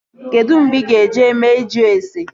Kedụ mgbe ị ga-eje mee ịjụ ase?